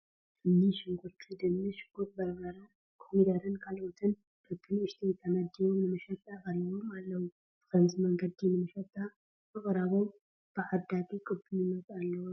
እኒ ሽጉርቲ፣ ድንሽ፣ ጉዕ በርበረ፣ ኮሚደረን ካልኦትን በብንኡሽተይ ተመዲቦም ንመሸጣ ቀሪቦም ኣለዉ፡፡ ብኸምዚ መንገዲ ንመሸጣ ምቕራቦም ብዓዳጊ ቅቡልነት ኣለዎ ዶ?